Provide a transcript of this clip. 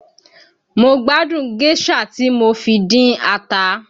Mo gbádùn géșà tí mo fi dín ata